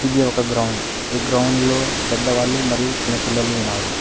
ఇది ఒక గ్రౌండ్ ఈ గ్రౌండ్ లో పెద్దవాళ్ళు మరియు చిన్న పిల్లలు ఉన్నారు.